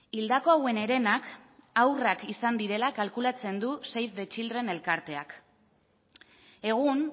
hildako hauen herenak haurrak izan direla kalkulatzen du save the children elkarteak egun